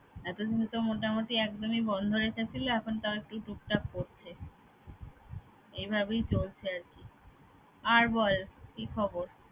এতদিন তো মোটামুটি একদমই বন্ধ রেখেছিল এখন তাও একটু টুকটাক করছে এভাবেই চলছে আরকি। আর বল কি খবর?